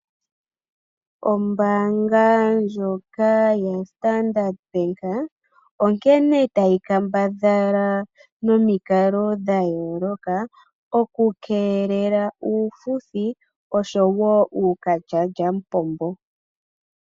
Ombaanga ndjoka yostandard bank onkene tayi kambadhala nomikalo ndhoka okukeelela uufuthi osho wo uukalyamupombo.